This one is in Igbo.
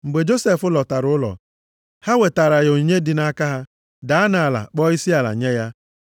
Mgbe Josef lọtara ụlọ, ha wetaara ya onyinye dị nʼaka ha, daa nʼala, kpọọ isiala nye ya.